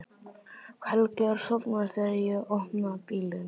Helgi er sofnaður þegar ég opna bílinn.